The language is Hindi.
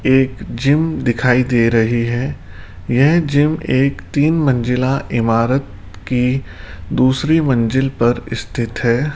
एक जिम दिखाई दे रही है यह जिम एक तीन मंजिला इमारत की दूसरी मंजिल पर स्थित है।